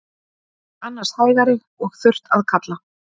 Annars hægari og þurrt að kalla